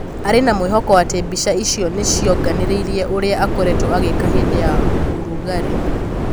Arĩ na mwĩhoko atĩ mbica icio nĩ cingĩonanirie ũrĩa akoretwo agĩka hĩndĩ ya ũrugarĩ